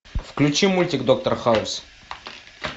включи мультик доктор хаус